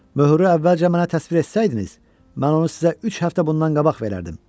Möhürü əvvəlcə mənə təsvir etsəydiniz, mən onu sizə üç həftə bundan qabaq verərdim.